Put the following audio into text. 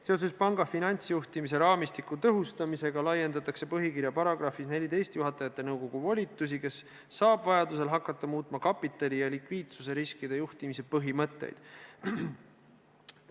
Seoses panga finantsjuhtimise raamistiku tõhustamisega laiendatakse põhikirja §-s 14 juhatajate nõukogu volitusi, kes saab vajaduse korral hakata muutma kapitali- ja likviidsusjuhtimise põhimõtteid.